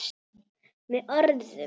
Með orðum.